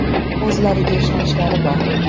O‘zlariga ishonchlari bor!